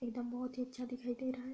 एकदम बोहोत ही अच्छा दिखाई दे रहा है।